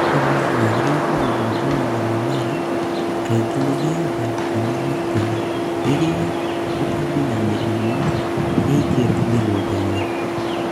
Arĩmi magĩrĩirwo gũthuthuria mĩmera kaingĩ nĩgetha mamenye tene rĩrĩa tũtambi na mĩrimũ yaingĩra mĩgũnda-inĩ.